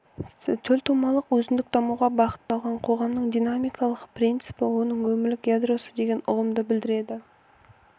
төлтумалық өзіндік дамуға бағытталған қоғамның динамикалық принципі оның өмірлік ядросы деген ұғымды білдіреді